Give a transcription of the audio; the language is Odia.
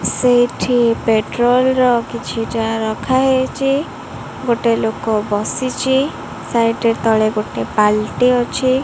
ସେଇଠି ପେଟ୍ରୋଲ ର କିଛିଟା ରଖାହେଇଚି ଗୋଟେ ଲୋକ ବସିଛି ସାଇଟ ରେ ତଳେ ଗୋଟେ ବାଲ୍ଟି ଅଛି।